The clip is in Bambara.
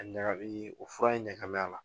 Ɲaga bi o fura in ɲaga b'a la.